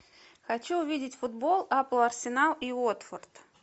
хочу увидеть футбол апл арсенал и уотфорд